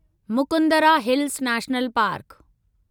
Mukundra hills national park